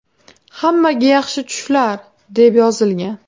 Hammaga yaxshi tushlar”, deb yozilgan.